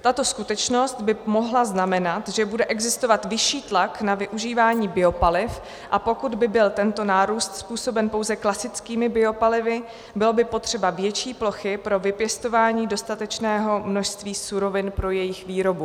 "Tato skutečnost by mohla znamenat, že bude existovat vyšší tlak na využívání biopaliv, a pokud by byl tento nárůst způsoben pouze klasickými biopalivy, bylo by potřeba větší plochy pro vypěstování dostatečného množství surovin pro jejich výrobu."